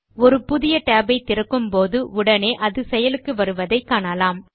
ஒரு புதிய tab ஐ திறக்கும்போது உடனே அது செயலுக்கு வருவதை காணலாம்